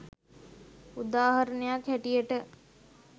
උදාහරණයක් හැටියට